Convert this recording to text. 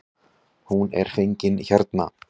Hún er fengin hérna.